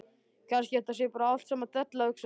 Kannski þetta sé bara allt saman della, hugsaði hann.